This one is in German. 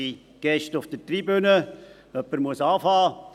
Jemand muss anfangen.